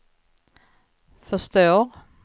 förstår